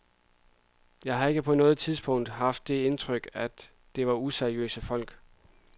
Jeg har ikke på noget tidspunkt haft det indtryk, at det var useriøse folk.